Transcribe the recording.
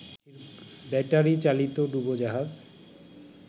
ব্যাটারিচালিত ডুবোজাহাজ